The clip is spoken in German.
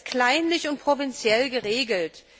Er ist kleinlich und provinziell geregelt.